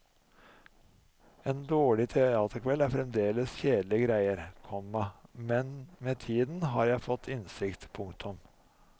En dårlig teaterkveld er fremdeles kjedelige greier, komma men med tiden har jeg fått innsikt. punktum